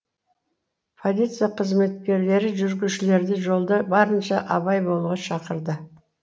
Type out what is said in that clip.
полиция қызметкерлері жүргізушілерді жолда барынша абай болуға шақырды